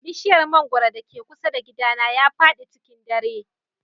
Bishiyar mangwaro da ke kusa da gidana ya fadi cikin dare.